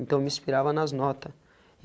Então me inspirava nas nota.